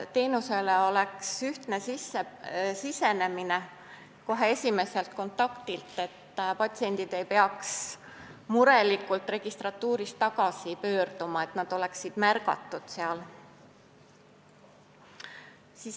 Teenusele peaks olema ühtne sisenemine kohe esimeselt kontaktilt, et patsiendid ei peaks murelikult registratuurist tagasi pöörduma, vaid neid märgataks seal.